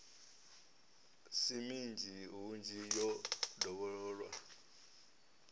si minzhi hunzhi yo dovhololwa